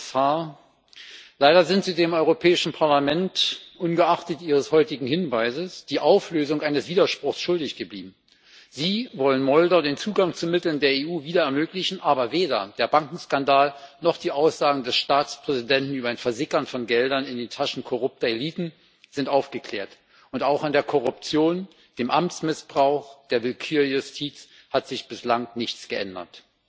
Herr Kommissar, Leider sind Sie dem Europäischen Parlament ungeachtet Ihres heutigen Hinweises die Auflösung eines Widerspruchs schuldig geblieben. Sie wollen Moldau den Zugang zu Mitteln der EU wieder ermöglichen, aber weder der Bankenskandal noch die Aussagen des Staatspräsidenten über ein Versickern von Geldern in den Taschen korrupter Eliten sind aufgeklärt, und auch an der Korruption, dem Amtsmissbrauch, der Willkürjustiz hat sich bislang nichts geändert.